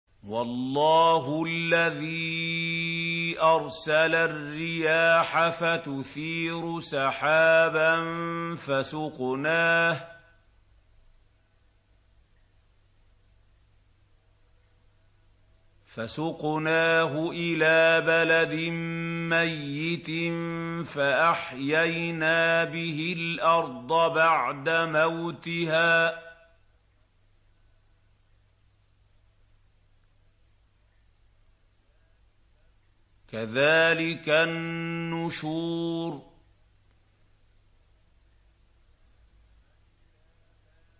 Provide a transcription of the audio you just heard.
وَاللَّهُ الَّذِي أَرْسَلَ الرِّيَاحَ فَتُثِيرُ سَحَابًا فَسُقْنَاهُ إِلَىٰ بَلَدٍ مَّيِّتٍ فَأَحْيَيْنَا بِهِ الْأَرْضَ بَعْدَ مَوْتِهَا ۚ كَذَٰلِكَ النُّشُورُ